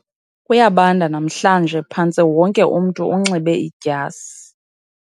Kuyabanda namhlanje phantse wonke umntu unxibe idyasi